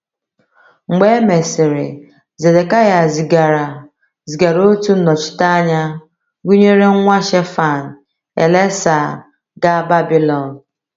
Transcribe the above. Mgbe e mesịrị, Zedekịa zigara zigara otu nnọchiteanya gụnyere nwa Shaphan, Elasah, gaa Babilọn.